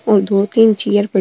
और दो तीन चेयर प --